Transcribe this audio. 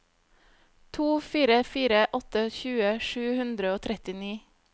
to fire fire åtte tjue sju hundre og trettini